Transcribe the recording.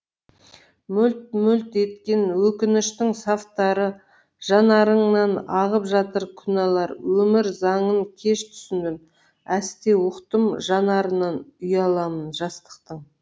мөлт мөлт еткен өкініштің сафтары жанарыңнан ағып жатыр күнәлар өмір заңын кеш түсіндім әсте ұқтым жанарынан ұяламын жастықтың